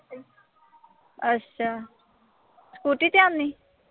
ਅੱਛਾ। scooter ਤੇ ਆਂਦੀ?